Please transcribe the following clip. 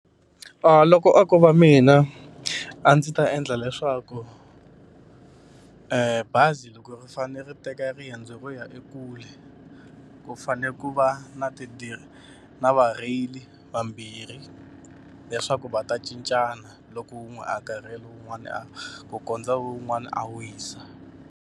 loko a ko va mina a ndzi ta endla leswaku bazi loko ri fanele ri teka riendzo ro ya ekule, ku fanele ku ku va na na varheyili vambirhi leswaku va ta cincana. Loko wun'we a karhele wun'wana a ku kondza un'wana a wisa.